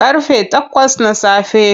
Ƙarfe takwas na safe.